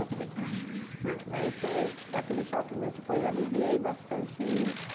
Daí você fica ah, né... daí você... dar aquele choque, mas depois aliviei bastante isso.